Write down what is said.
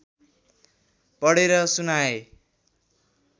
पढेर सुनाए